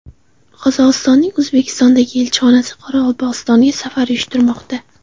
Qozog‘istonning O‘zbekistondagi elchisi Qoraqalpog‘istonga safar uyushtirmoqda.